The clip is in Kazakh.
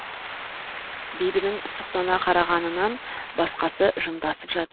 бибінің сұқтана қарағанынан басқасы жымдасып жатыр